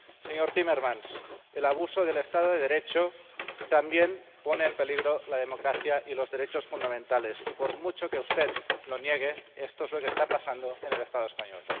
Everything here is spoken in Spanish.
Señor Timmermans, el abuso del Estado de Derecho también pone en peligro la democracia y los derechos fundamentales y, por mucho que usted lo niegue, esto es lo que está pasando en el Estado español.